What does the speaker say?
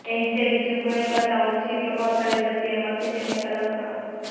engine તે બીજું કંઇ કરતાં કોઈ ઓછી પ્રભાવશાળી દ્રષ્ટિએ મશીન ટેકનિકલ લક્ષણો